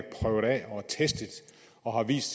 og testet og har vist